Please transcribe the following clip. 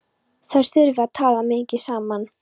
Þær þurfi að tala mikið saman.